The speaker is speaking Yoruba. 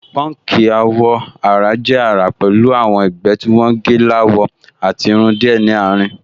Pọ́nkì àwọ̀-ara jẹ́ àrà pẹ̀lú àwọn ẹ̀gbẹ́ tí wọ́n gẹ́ láwọ àti irun díẹ̀ ní àárín